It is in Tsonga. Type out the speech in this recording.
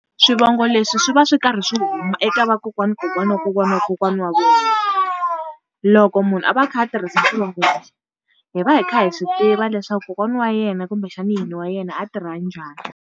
Swivongo leswi swi va swi karhi swi huma eka vakokwana kokwani wa kokwana wa kokwana wa vona. Loko munhu a va a kha a tirhisa swivongo lexi, hi va hi kha hi swi tiva leswaku kokwana wa yena kumbexana nyini wa yena a tirha njhani.